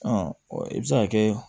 i bɛ se ka kɛ